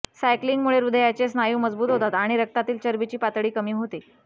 सायक्लिंगमुळे हृदयाचे स्नायू मजबूत होतात आणि रक्तातील चरबीची पातळी कमी होते